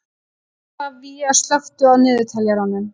Oktavías, slökktu á niðurteljaranum.